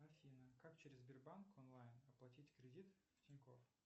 афина как через сбербанк онлайн оплатить кредит тинькофф